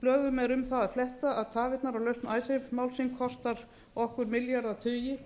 blöðum er um það að fletta að tafirnar á lausn icesave málsins kosta okkur milljarðatugi